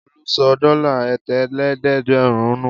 Olú sọ dọ́là ẹ̀tàlélẹ́ẹ̀dẹ́gbẹ̀rún nù?